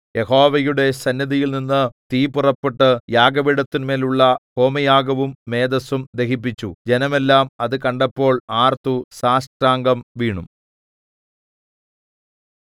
യഹോവയുടെ സന്നിധിയിൽനിന്ന് തീ പുറപ്പെട്ടു യാഗപീഠത്തിന്മേൽ ഉള്ള ഹോമയാഗവും മേദസ്സും ദഹിപ്പിച്ചു ജനമെല്ലാം അത് കണ്ടപ്പോൾ ആർത്തു സാഷ്ടാംഗം വീണു